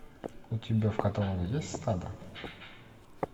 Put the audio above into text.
у тебя в каталоге есть стадо